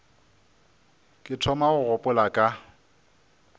ke thoma go gopola ka